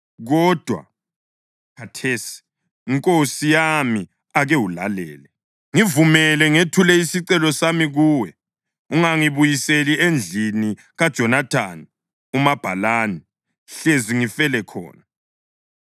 Kodwa khathesi, nkosi yami, ake ulalele. Ngivumela ngethule isicelo sami kuwe: Ungangibuyiseli endlini kaJonathani umabhalani, hlezi ngifele khona.”